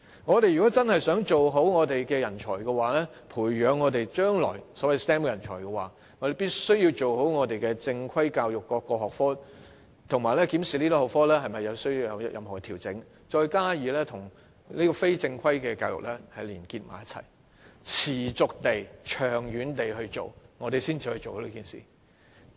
我們想真正培養人才的話，即培養將來的所謂 STEM 人才，便必須先做好正規教育中各個學科的教育，以及檢視這些學科是否需作調整，再與非正規教育結合，持續地進行，才能做好這件事。